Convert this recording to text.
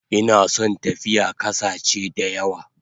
Ina son tafiya kasache dayawa